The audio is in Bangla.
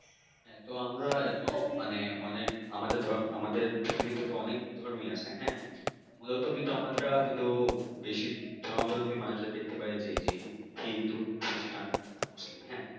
হ্যাঁ তো আমরা এত মানে অনেক আমাদের পৃথিবীতে তো অনেক ধর্মই আছে হ্যাঁ মূলত কিন্তু আমরা যে শিখ ধর্মাবল্বীদের দেখতে পাই যে হিন্দু খ্রীষ্টান মুসলিম হ্যাঁ